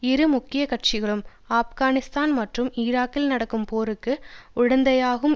இரு முக்கிய கட்சிகளும் ஆப்கானிஸ்தான் மற்றும் ஈராக்கில் நடக்கும் போருக்கு உடந்தையாகும்